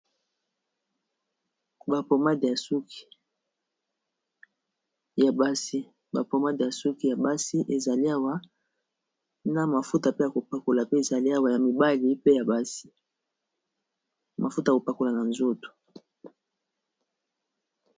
Ba pomade ya suki ya basi ezali awa na mafuta pe ya kopakola pe ezali awa ya mibali pe ya basi mafuta ya kopakola na nzoto.